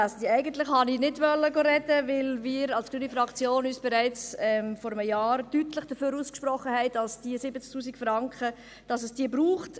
Eigentlich habe ich nicht sprechen wollen, da wir von der grünen Fraktion uns bereits vor einem Jahr deutlich dafür ausgesprochen hatten, dass es diese 70 000 Franken braucht.